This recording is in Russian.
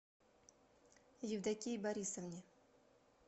евдокии борисовне